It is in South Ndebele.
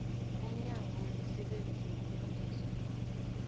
umnyango wemisebenzi yokulungiswa